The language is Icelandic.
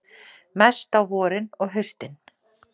Mest á vorin og haustin.